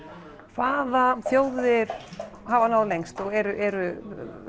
hvaða þjóðir hafa náð lengst og eru